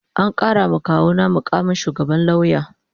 An karawa kawuna mukamin shugaban lauya